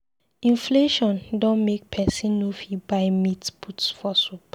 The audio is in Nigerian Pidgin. Inflation don make pesin no fit buy meat put for soup.